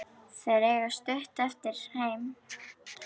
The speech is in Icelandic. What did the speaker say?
Þeir eiga stutt eftir heim.